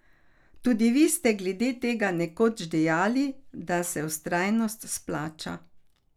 Tudi vi ste glede tega nekoč dejali, da se vztrajnost splača.